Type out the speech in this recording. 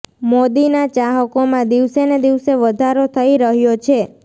મોદીના ચાહકોમાં દિવસે ને દિવસે વધારો થઇ રહ્યો છે